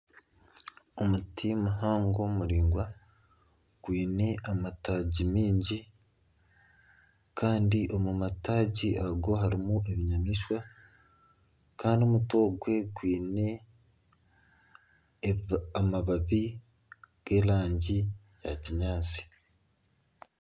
Omuti muhango muraingwa gwine amatagi mingi kandi omu matagi ago harimu ebinyamaishwa kandi omuti ogwe gwine amababi g'erangi ya kinyaatsi.